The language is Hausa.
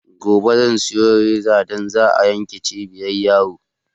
Gobe zan siyo rezan da za a yanka cibin yaro